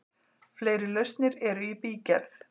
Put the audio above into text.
Fleiri lausnir eru í bígerð.